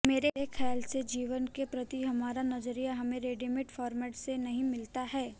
मेरे खयाल से जीवन के प्रति हमारा नजरिया हमें रेडीमेड फॉर्मेट से नहीं मिलता है